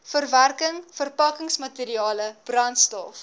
verwerking verpakkingsmateriale brandstof